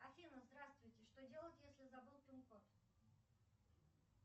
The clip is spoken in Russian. афина здравствуйте что делать если забыл пин код